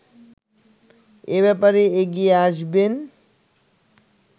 এ ব্যাপারে এগিয়ে আসবেন